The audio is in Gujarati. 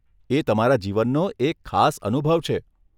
એ તમારા જીવનનો એક ખાસ અનુભવ છે.